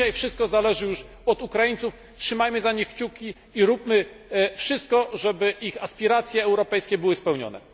Dzisiaj wszystko zależy już od Ukraińców, trzymajmy za nich kciuki i róbmy wszystko, żeby ich aspiracje europejskie były spełnione.